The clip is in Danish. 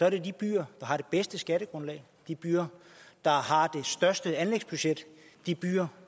at det er de byer der har det bedste skattegrundlag de byer der har det største anlægsbudget de byer